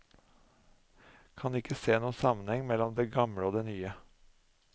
Kan ikke se noe sammenheng mellom det gamle og det nye.